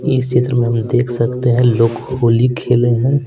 इस क्षेत्र में हम देख सकते हैं लोग होली खेले हैं।